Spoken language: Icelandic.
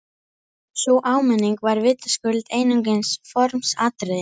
Sú áminning var vitaskuld einungis formsatriði!